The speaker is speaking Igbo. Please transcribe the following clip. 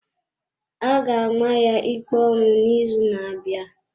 A ga-ama ya ikpe ọnwụ n’izu na-abịa.